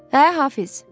Hə, Hafiz!